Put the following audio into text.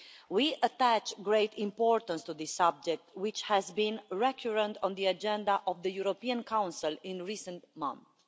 We attach great importance to this subject, which has been recurrent on the agenda of the European Council in recent months.